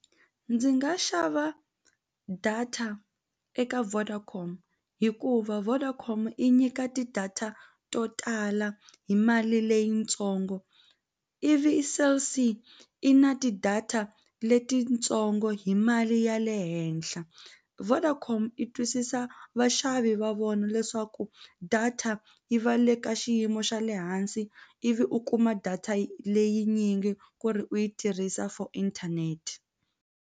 Ndzi nga xava data eka Vodacom hikuva Vodacom i nyika ti-data to tala hi mali leyitsongo ivi Cell C i na ti-data letitsongo hi mali ya le henhla Vodacom yi twisisa vaxavi va vona leswaku data yi va le ka xiyimo xa le hansi ivi u kuma data leyinyingi ku ri u yi tirhisa for internet.